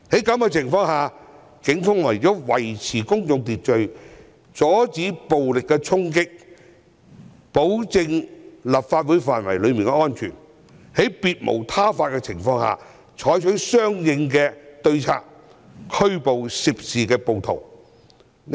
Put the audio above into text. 警方為了維持公眾秩序，阻止暴力衝擊，以及保障立法會範圍的安全，在別無他法下採取相應對策，拘捕涉事暴徒。